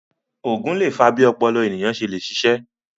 Ògùn lè fa bí ọpọlọ ènìyàn ṣe le ṣiṣé